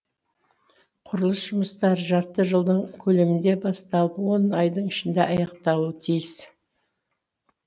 құрылыс жұмыстары жарты жылдың көлемінде басталып он айдың ішінде аяқталуы тиіс